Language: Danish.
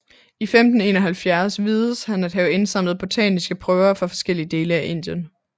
I 1571 vides han at have indsamlet botaniske prøver fra forskellige dele af Indien